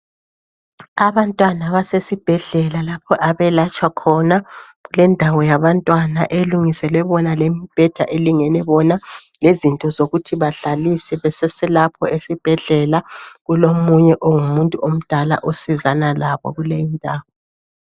Abantwana basesibhedlela lapha abayelatshwa khona lendawo yabantwana elungiselwe bona lembheda elingene bona lezinto zokuthi badlalise beseselapho esibhedlela kulomunye ungumuntu omdala osizana labo kuyi indawo